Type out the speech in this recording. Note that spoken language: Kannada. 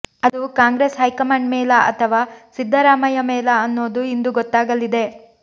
ಅದು ಕಾಂಗ್ರೆಸ್ ಹೈಕಮಾಂಡ್ ಮೇಲಾ ಅಥವ ಸಿದ್ದರಾಮಯ್ಯ ಮೇಲಾ ಅನ್ನೋದು ಇಂದು ಗೊತ್ತಾಗಲಿದೆ